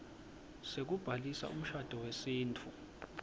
sekubhalisa umshado wesintfu